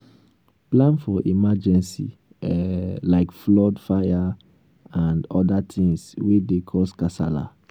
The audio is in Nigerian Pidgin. plan for emergency um like flood fire and oda things wey dey cause kasala